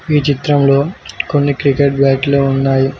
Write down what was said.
ఈ చిత్రంలో కొన్ని క్రికెట్ బ్యాట్లు ఉన్నాయి.